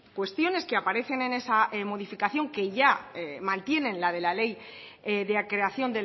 cuestiones que aparecen en esa modificación que ya mantienen la de la ley de creación